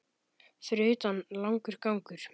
Fyrir utan langur gangur.